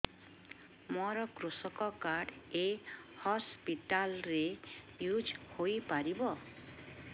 ମୋର କୃଷକ କାର୍ଡ ଏ ହସପିଟାଲ ରେ ୟୁଜ଼ ହୋଇପାରିବ